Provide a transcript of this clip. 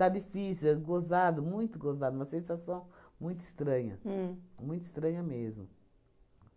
Está difícil, é gozado, muito gozado, uma sensação muito estranha. Uhm. Muito estranha mesmo,